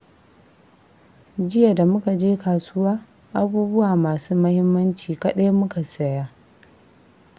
Jiya da muka je kasuwa, abubuwa masu muhimmanci kaɗai muka saya